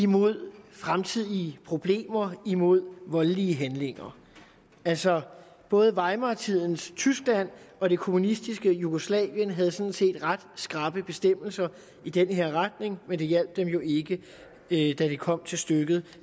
mod fremtidige problemer mod voldelige handlinger altså både weimartidens tyskland og det kommunistiske jugoslavien havde sådan set ret skrappe bestemmelser i den her retning men det hjalp dem jo ikke da det kom til stykket